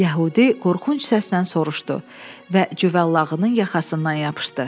Yəhudi qorxunc səslə soruşdu və cüvəllağının yaxasına yapışdı.